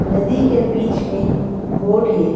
नदी के बीच में बोड है।